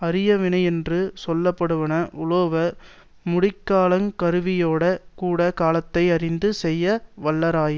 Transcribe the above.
அரிய வினையென்று சொல்ல படுவன உளவோ முடிக்கலாங் கருவியோடே கூட காலத்தை யறிந்து செய்ய வல்லாராயின்